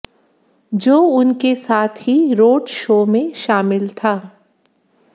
जो उनके साथ ही रोड शो में शामिल था